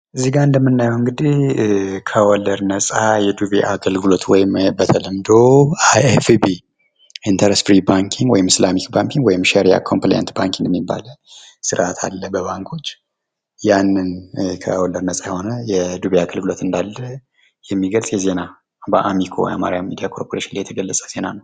እዚጋ እንደምናየው እንግዲህ ከወለድ ነጻ የዱቤ አገልግሎት እንዳለ በአሚኮ ወይም በአማራ ሚዲያ ኮርፖሬሽን የተገለጸ ዜና ነው።